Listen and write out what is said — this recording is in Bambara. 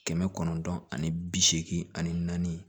Kɛmɛ kɔnɔntɔn ani bi seegin ani naani